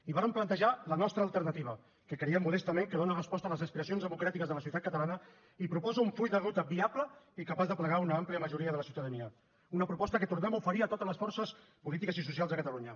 i vàrem plantejar la nostra alternativa que creiem modestament que dóna resposta a les aspiracions democràtiques de la societat catalana i proposa un full de ruta viable i capaç d’aplegar una àmplia majoria de la ciutadania una proposta que tornem a oferir a totes les forces polítiques i socials de catalunya